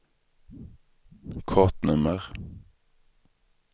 kortnummer